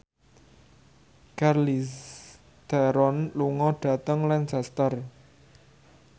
Charlize Theron lunga dhateng Lancaster